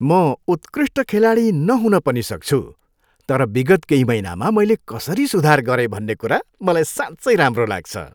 म उत्कृष्ट खेलाडी नहुन पनि सक्छु तर विगत केही महिनामा मैले कसरी सुधार गरेँ भन्ने कुरा मलाई साँच्चै राम्रो लाग्छ।